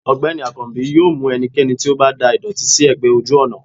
ọgbẹni akanbi yóò mú ẹnikẹni tí o ba dà ìdòtí si egbè ojú ònà